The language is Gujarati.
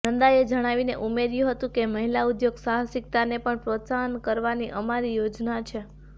નંદાએ જણાવીને ઉમેર્યું હતુ કે મહિલા ઉદ્યોગ સાહસિકતાને પણ પ્રોત્સાહિત કરવાની અમારી યોજના છે